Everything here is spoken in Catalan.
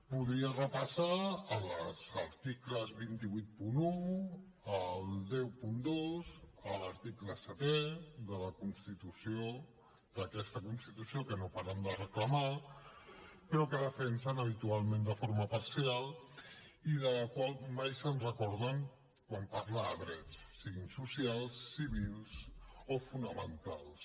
podria repassar els articles dos cents i vuitanta un el cent i dos l’article setè d’aquesta constitució que no paren de reclamar però que defensen habitualment de forma parcial i de la qual mai se’n recorden quan parla de drets siguin socials civils o fonamentals